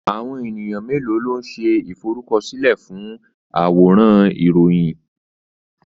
Àwọn ènìyàn mélòó ló ń ṣe ìforúkọsílẹ̀ fún àwòrán Ìròyìn?